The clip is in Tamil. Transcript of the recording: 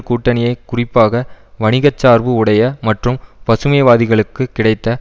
கூட்டணியை குறிப்பாக வணிகச்சார்பு உடைய மற்றும் பசுமைவாதிகளுக்கு கிடைத்த